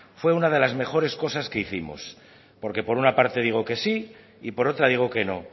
fue una de las mejores cosas que hicimos porque por una parte digo que sí y por otra digo que no